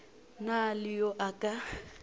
na le yo a ka